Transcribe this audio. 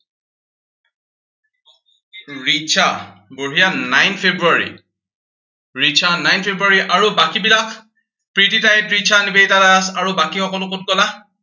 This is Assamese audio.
ৰিচা। বঢ়িয়া nine February Richa nine February আৰু বাকীবিলাক? প্ৰীতিক্ষা, তৃষা, নিবেদিতা আৰু বাকী সকলো কত গলা?